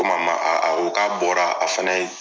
Komi a ma, a a ko k'a bɔra ,a fana ye